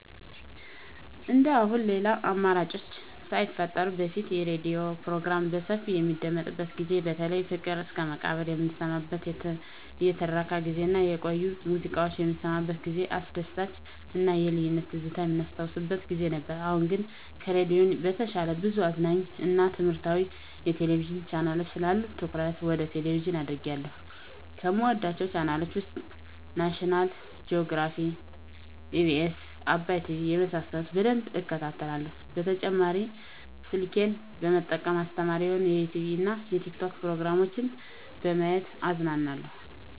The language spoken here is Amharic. እንደአሁኑ ሌላ አማራጮች ሳይፈጠሩ በፊት የሬዲዮ ፕሮግራሞች በሰፊው በሚደመጥበት ጊዜ በተለይ ፍቅር እስከመቃብር የምንሰማበት የትረካ ጊዜ እና የቆዩ ሙዚቃዎች የምንሰማበት ጊዜ አስደሳች እና የልጅነት ትዝታ የምናስታውስበት ጊዜ ነበር። አሁን ግን ከሬዲዮ በተሻለ ብዙ አዝናኝ እና ትምህረታዊ የቴሌቪዥን ቻናሎች ስላሉ ትኩረቴ ወደ ቴሌቭዥን አድርጌአለሁ። ከምወዳቸው ቻናሎች ውስጥ ናሽናል ጆግራፊ, ኢቢኤስ, አባይ ቲቪ የመሳሰሉት በደንብ እከታተላለሁ። በተጨማሪ ስልኬን በመጠቀም አስተማሪ የሆኑ የዩቲዉብ እና የቲክቶክ ፕሮግራሞችን በማየት እዝናናለሁ።